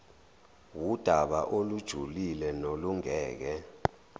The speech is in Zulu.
wudaba olujulile nolungeke